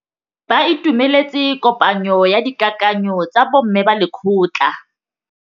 Ba itumeletse kôpanyo ya dikakanyô tsa bo mme ba lekgotla.